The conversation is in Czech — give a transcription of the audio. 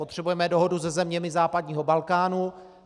Potřebujeme dohodu se zeměmi západního Balkánu.